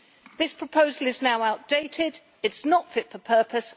This proposal is now outdated it is not fit for purpose